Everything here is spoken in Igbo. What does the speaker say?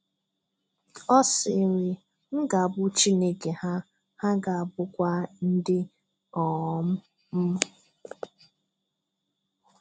Ọ sịrị, "M ga-abụ Chineke ha, ha ga-abụkwa ndị um m."